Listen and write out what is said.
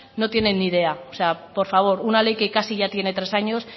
no tienen ni idea o sea por favor una ley que casi ya tiene tres años